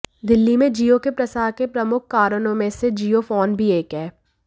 दिल्ली में जियो के प्रसार के प्रमुख कारणों में से जियो फोन भी एक है